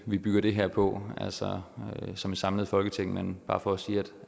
vi bygger det her på altså som et samlet folketing men det bare for at sige